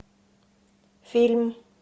фильм